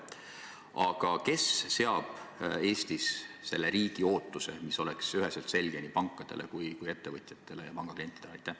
Aga kes seab Eestis riigipoolse ootuse, mis oleks üheselt selge nii pankadele kui ka ettevõtjatele ja panga klientidele?